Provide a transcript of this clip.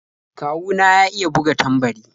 Kawu na ya iya buga tambari.